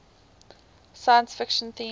science fiction themes